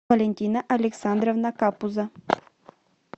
валентина александровна капуза